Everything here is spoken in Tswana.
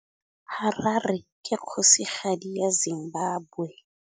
Harare ke kgosigadi ya Zimbabwe.